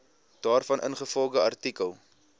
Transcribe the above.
daarvan ingevolge artikel